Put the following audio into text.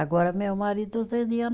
Agora, meu marido